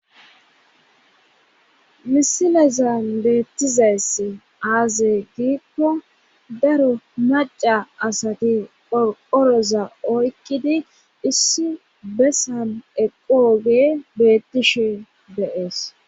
misilezan beettizayss aazey giikko daro maacca asati qoqoroza oykkidi issi bessan eqo oge bettishe deees.